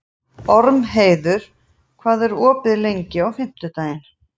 Ormheiður, hvað er opið lengi á fimmtudaginn?